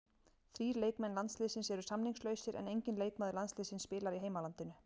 Þrír leikmenn landsliðsins eru samningslausir en enginn leikmaður landsliðsins spilar í heimalandinu.